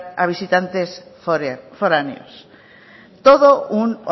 a visitantes foráneos todo un